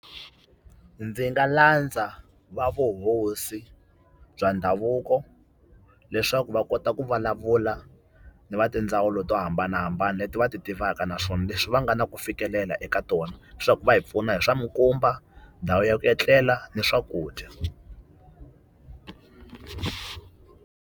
Ndzi nga landza va vuhosi bya ndhavuko leswaku va kota ku vulavula ni va tindzawulo to hambanahambana leti va a ti tivaka, naswona leswi va nga na ku fikelela eka tona leswaku va hi pfuna hi swa minkumba, ndhawu ya ku etlela ni swakudya.